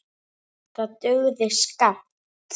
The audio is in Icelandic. Það dugði skammt.